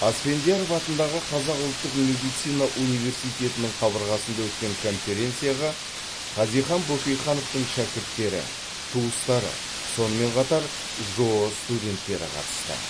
асфендияров атындағы қазақ ұлттық медицина университетінің қабырғасында өткен конференцияға хазихан бөкейхановтың шәкірттері туыстары сонымен қатар жоо студенттері қатысты